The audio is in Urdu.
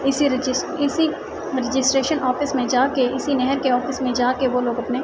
اسی رجس اسی راگستراٹیوں آفس مے جاکے اسی نہار کے آفس مے جاکے وو لوگ اپنے--